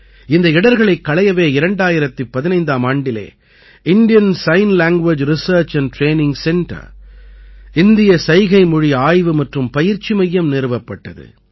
இந்த இடர்களைக் களையவே 2015ஆம் ஆண்டில் Indian sign language research and training centre இந்திய சைகைமொழி ஆய்வு மற்றும் பயிற்சி மையம் நிறுவப்பட்டது